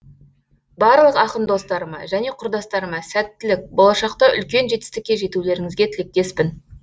барлық ақын достарыма және құрдастарыма сәттілік болашақта үлкен жетістікке жетулеріңізге тілектеспін